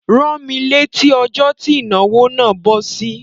Rán mí létí ọjó ti ìnáwó nà bọ́ sí!